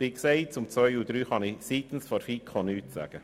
Zu den Planungserklärungen 2 und 3 kann ich seitens der FiKo nichts sagen.